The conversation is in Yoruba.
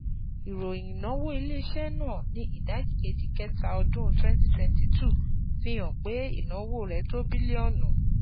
Ìròyìn ìnáwó ilé-iṣẹ́ náà ní ìdajì kẹta ọdún twenty twenty two fi hàn pé ìnáwó rẹ̀ tó bílíọ̀nù